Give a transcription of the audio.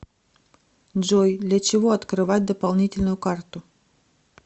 джой для чего открывать дополнительную карту